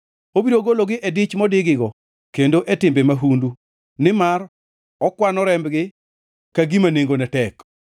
Obiro gologi e dich modigigo kendo e timbe mahundu, nimar okwano rembgi ka gima nengone tek.